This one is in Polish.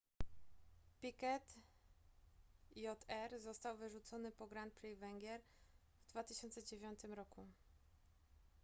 piquet jr został wyrzucony po grand prix węgier w 2009 roku